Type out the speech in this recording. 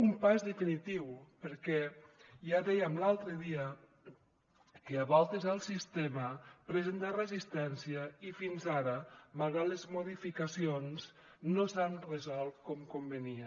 un pas definitiu perquè ja dèiem l’altre dia que a voltes el sistema presenta resistència i fins ara malgrat les modificacions no s’han resolt com convenia